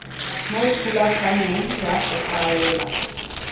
mo thulaganyong ya go faela